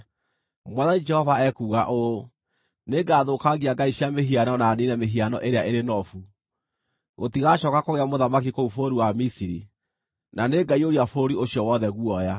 “ ‘Mwathani Jehova ekuuga ũũ: “ ‘Nĩngathũkangia ngai cia mĩhianano na niine mĩhiano ĩrĩa ĩrĩ Nofu. Gũtigacooka kũgĩa mũthamaki kũu bũrũri wa Misiri, na nĩngaiyũria bũrũri ũcio wothe guoya.